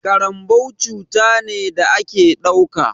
Ƙaranbau cuta ne da a ke ɗauka.